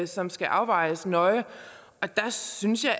som skal afvejes nøje og der synes jeg